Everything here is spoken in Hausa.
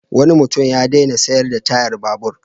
Wani mutum ya daina sayar da tayar babur.